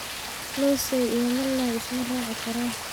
Loosay iyo malay ismaracikaran.